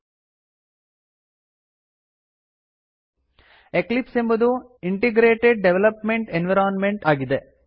Eclipse ಎಂಬುದು integrated development environment integrated development environment ಆಗಿದೆ